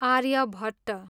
Aryabhata